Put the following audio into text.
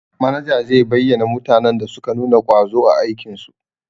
Manaja zai bayyana mutanen da suka nuna ƙwazo a aikin su.